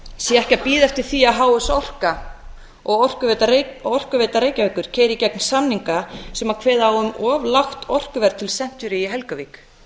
sé ekki að bíða eftir því að h s orka og orkuveita reykjavíkur keyri í gegn samninga sem kveði á um of lágt orkuverð til century í helguvík